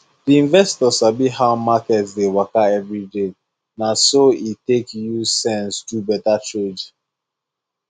the investor sabi how market dey waka every day na so e take use sense do better trade